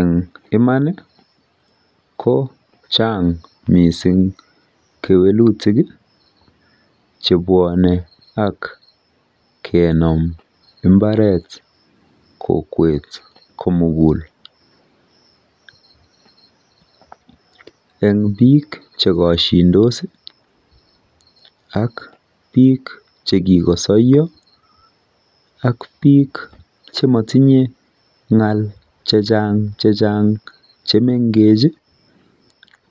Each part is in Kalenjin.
Eng iman ko chang mising kewelutik chebwonei ak kenom mbaret kokwet komugul. Eng biik chekoshindo ak biik che kikosoiya, ak biik chatinyei ng'al chechang chechang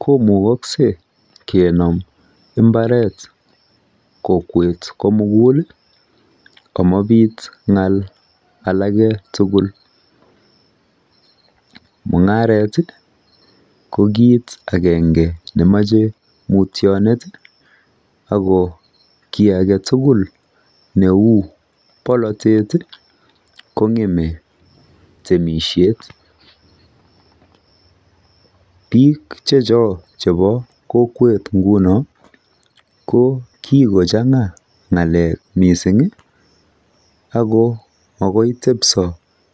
komukosgei kemon mbaret kokwet komugul amabiit ng'al aleke tugul. Mung'aret ko kiit agenge nemachei mutyonet ako kiy age tugul neu polotet kong'emei temishet. Biik chechok chebo kokwet nguno ko kikochang'a ng'alek mising ako magoi tebso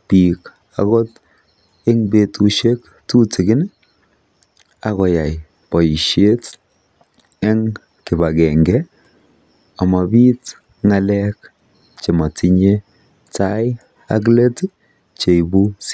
biki akot betushek tutigin akoyai boishet eng kibagenge amabit ng'alek chematinyei tai ak let cheipu sida.